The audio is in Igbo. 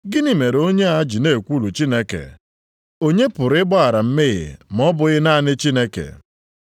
“Gịnị mere onye a ji na-ekwulu Chineke? Onye pụrụ ịgbaghara mmehie ma ọ bụghị naanị Chineke?”